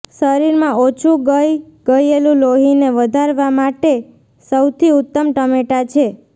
શરીર માં ઓછું ગઈ ગયેલું લોહી ને વધારવામાં માટે સૌથી ઉત્તમ ટમેટા છે